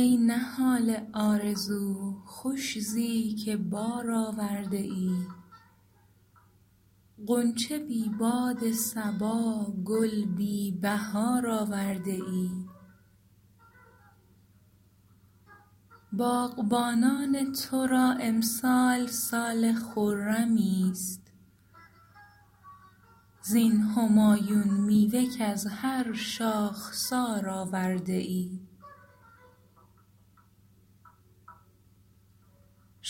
ای نهال آرزو خوش زی که بار آورده ای غنچه بی باد صبا گل بی بهار آورده ای باغبانان تو را امسال سال خرمی است زین همایون میوه کز هر شاخسار آورده ای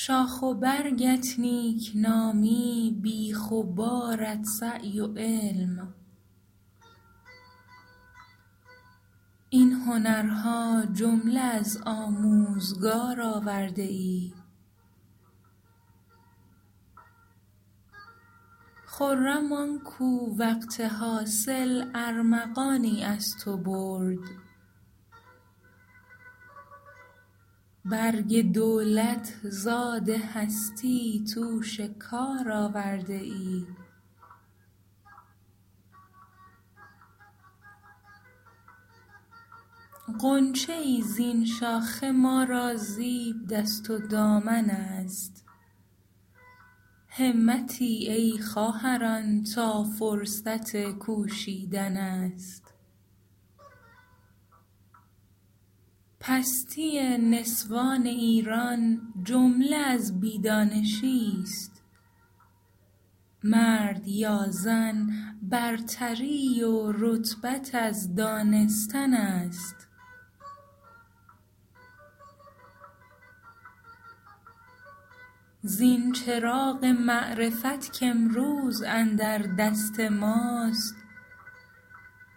شاخ و برگت نیکنامی بیخ و بارت سعی و علم این هنرها جمله از آموزگار آورده ای خرم آنکو وقت حاصل ارمغانی از تو برد برگ دولت زاد هستی توش کار آورده ای غنچه ای زین شاخه ما را زیب دست و دامن است همتی ای خواهران تا فرصت کوشیدن است پستی نسوان ایران جمله از بی دانشی است مرد یا زن برتری و رتبت از دانستن است زین چراغ معرفت کامروز اندر دست ماست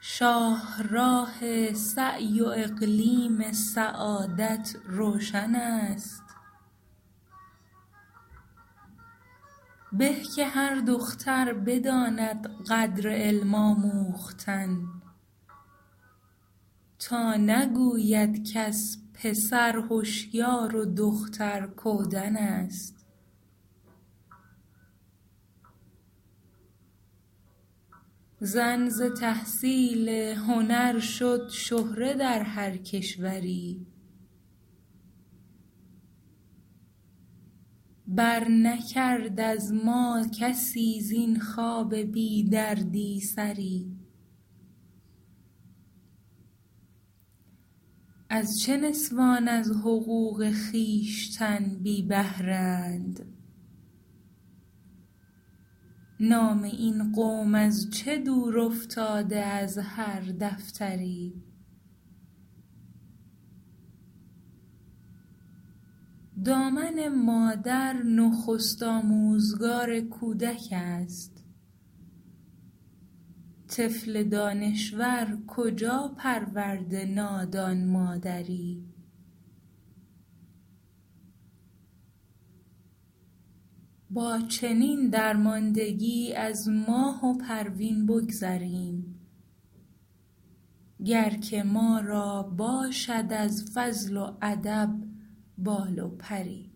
شاهراه سعی و اقلیم سعادت روشن است به که هر دختر بداند قدر علم آموختن تا نگوید کس پسر هشیار و دختر کودن است زن ز تحصیل هنر شد شهره در هر کشوری بر نکرد از ما کسی زین خواب بیدردی سری از چه نسوان از حقوق خویشتن بی بهره اند نام این قوم از چه دور افتاده از هر دفتری دامن مادر نخست آموزگار کودک است طفل دانشور کجا پرورده نادان مادری با چنین درماندگی از ماه و پروین بگذریم گر که ما را باشد از فضل و ادب بال و پری